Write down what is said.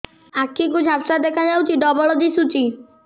ଆଖି କୁ ଝାପ୍ସା ଦେଖାଯାଉଛି ଡବଳ ଦିଶୁଚି